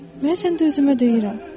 Mən sən də özümə deyirəm.